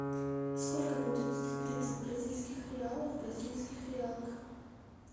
сколько будет сто тридцать бразильских реалов в бразильских реалах